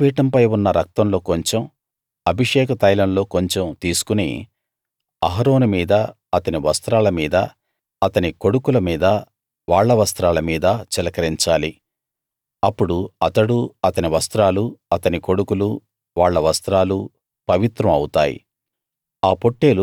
బలిపీఠంపై ఉన్న రక్తంలో కొంచెం అభిషేక తైలంలో కొంచెం తీసుకుని అహరోను మీదా అతని వస్త్రాల మీదా అతని కొడుకుల మీదా వాళ్ళ వస్త్రాల మీదా చిలకరించాలి అప్పుడు అతడూ అతని వస్త్రాలూ అతని కొడుకులూ వాళ్ళ వస్త్రాలూ పవిత్రం అవుతాయి